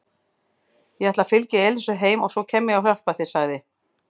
Ég ætla að fylgja Elísu heim og svo kem ég og hjálpa þér sagði